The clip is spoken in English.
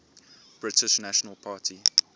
british national party